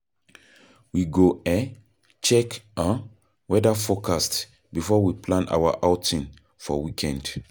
We go um check um weather forecast before we plan our outing for weekend.